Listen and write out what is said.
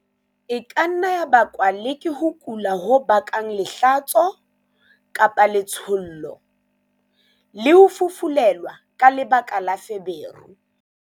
E ka nna ya bakwa le ke ho kula ho bakang lehlatso-letshollo, le ho fufulelwa ka lebaka la feberu.